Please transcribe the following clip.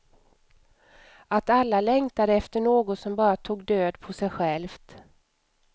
Att alla längtade efter något som bara tog död på sig självt.